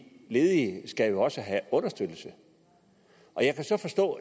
ledige skal jo også have understøttelse jeg kan så